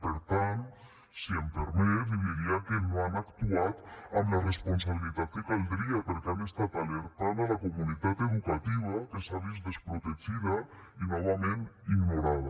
per tant si m’ho permet li diria que no han actuat amb la responsabilitat que caldria perquè han estat alertant la comunitat educativa que s’ha vist desprotegida i novament ignorada